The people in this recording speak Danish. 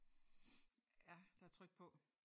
Ja der er tryk på